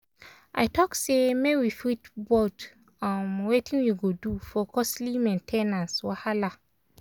i talk say make we fit vote um wetin we go do for costly main ten ance wahala.